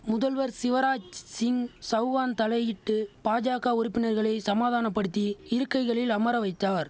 முதல்வர் சிவராஜ் சிங் சவுகான் தலையிட்டு பாஜக உறுப்பினர்களை சமாதானப்படுத்தி இருக்கைகளில் அமர வைத்தார்